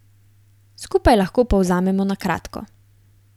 Skupaj lahko povzamemo na kratko.